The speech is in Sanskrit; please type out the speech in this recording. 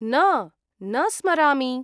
न, न स्मरामि।